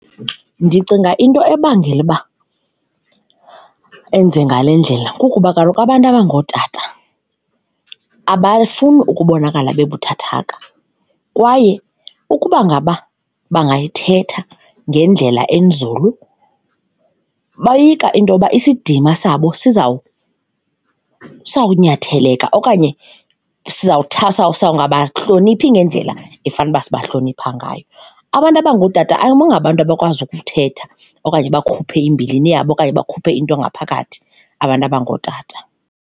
Ndicinga into ebangela uba enze ngale ndlela kukuba kaloku abantu abangootata abafuni ukubonakala babuthathaka kwaye ukuba ngaba bangayithetha ngendlela enzulu boyika into yoba isidima sabo sizawunyatheleka okanye sawungabahloniphi ngendlela efanuba sibahlonipha ngayo. Abantu abangootata ayingobantu abakwazi ukuthetha okanye bakhuphe imbilini yabo okanye bakhuphe into ngaphakathi, abantu abangootata.